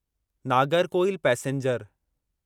Nagercoil passenger